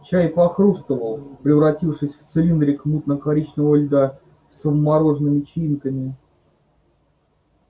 чай похрустывал превратившись в цилиндрик мутно-коричневого льда со вмороженными чаинками